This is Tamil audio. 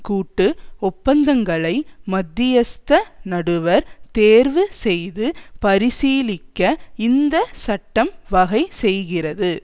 கூட்டு ஒப்பந்தங்களை மத்தியஸ்த நடுவர் தேர்வு செய்து பரிசீலிக்க இந்த சட்டம் வகை செய்கிறது